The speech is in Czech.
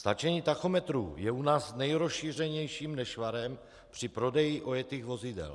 Stáčení tachometrů je u nás nejrozšířenějším nešvarem při prodeji ojetých vozidel.